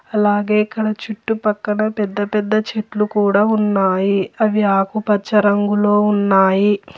అలాగే ఇక్కడ చుట్టుపక్కన పెద్ద పెద్ద చెట్లు కూడా ఉన్నాయి అవి ఆకుపచ్చ రంగులో ఉన్నాయి.